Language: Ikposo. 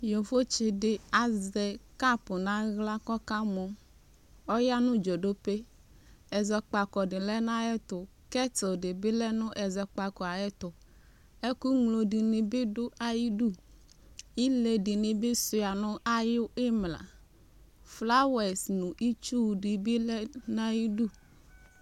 Yovotsi di azɛ kapʋ na ɣla kɔka mɔ Ɔyanʋ dzodope Ɛzɔkpako di lɛ nʋ ayɛtʋ Kɛtl di bi lɛ nʋ ɛzɔkpako yɛ ayɛtʋ Ɛkʋŋlo dini bi dʋ ayidu Ile dini bi sua nʋ ayi 'mla Flawɛsi nʋ itsʋ dini bi lɛ nʋ ayidu